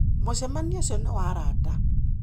Mũcemanio ũcio nĩ wa arata.